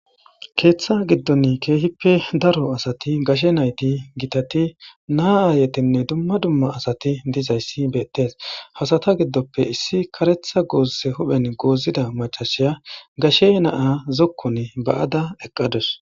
Keeththa giddon keehippe daro asati gashe nayti gitati naa aayetinne dumma dumma asati dizayssi beettes. Ha asata giddoppe issi karetha gooze huphen goozida macashiya gashe naa zokkun ba7ada eqqadus.